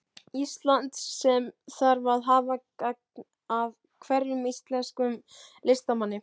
Íslands, sem þarf að hafa gagn af hverjum íslenskum listamanni.